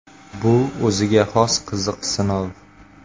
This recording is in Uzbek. Bu o‘ziga xos qiziq sinov.